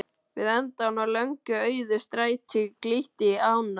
Við endann á löngu auðu stræti glytti í ána.